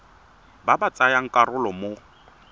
ba ba tsayang karolo mo